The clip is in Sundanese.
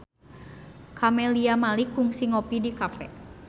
Camelia Malik kungsi ngopi di cafe